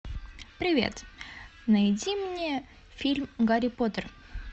привет найди мне фильм гарри поттер